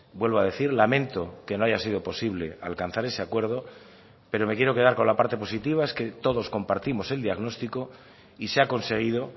vuelvo a decir lamento que no haya sido posible alcanzar ese acuerdo pero me quiero quedar con la parte positiva es que todos compartimos el diagnóstico y se ha conseguido